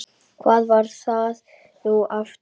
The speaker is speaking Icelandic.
hvar var það nú aftur?